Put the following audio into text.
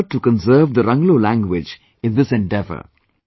There is an effort to conserve the Ranglo language in all this